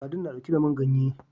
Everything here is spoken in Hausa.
Sadin na ɗauke da man ganye